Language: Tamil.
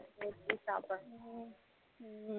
முடிச்சி சாப்படனும் ஹம் ஹம்